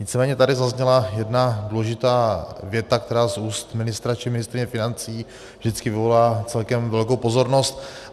Nicméně tady zazněla jedna důležitá věta, která z úst ministra či ministryně financí vždycky vyvolá celkem velkou pozornost.